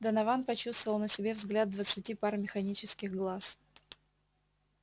донован почувствовал на себе взгляд двадцати пар механических глаз